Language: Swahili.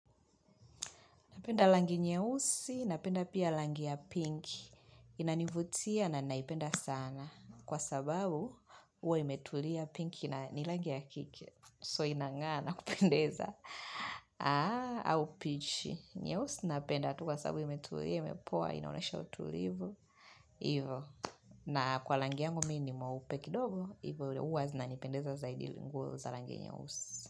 Napenda rangi nyeusi, napenda pia rangi ya pinki, inanivutia na naipenda sana, kwa sababu huwa imetulia pinki na ni rangi ya kike, so inang'aa na kupendeza. Aa, au peach, nyeusi napenda, tu kwa sababu imetulia, imepoa, inaonyesha utulivu, ivo. Na kwa rangi yangu mimi ni mweupe kidogo, ivo huwa zinanipendeza zaidi nguo za rangi nyeusi.